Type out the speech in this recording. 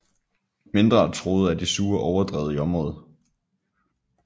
Mindre truet er de sure overdrev i området